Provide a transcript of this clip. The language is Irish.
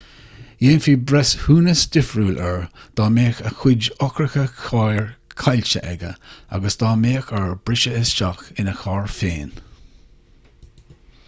dhéanfaí breithiúnas difriúil air dá mbeadh a chuid eochracha cairr caillte aige agus dá mbeadh air briseadh isteach ina charr féin